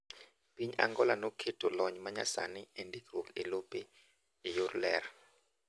Piny Angola noketo lony manyasani endikruok elope eyor ler.